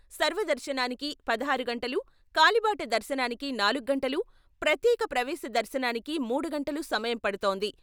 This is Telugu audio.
సర్వదర్శనానికి పదహారు గంటలు, కాలిబాట దర్శనానికి నాలుగు గంటలు, ప్రత్యేక ప్రవేశ దర్శనానికి మూడు గంటలు సమయం పడుతోంది.